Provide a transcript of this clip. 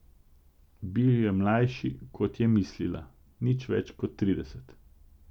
Bil je mlajši, kot je mislila, nič več kot trideset.